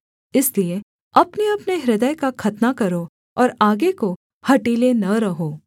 इसलिए अपनेअपने हृदय का खतना करो और आगे को हठीले न रहो